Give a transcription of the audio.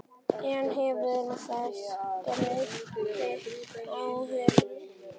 En hefur þessi breyting áhrif?